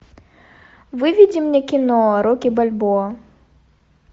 выведи мне кино рокки бальбоа